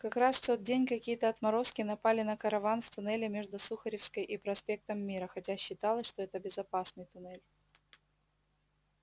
как раз в тот день какие-то отморозки напали на караван в туннеле между сухаревской и проспектом мира хотя считалось что это безопасный туннель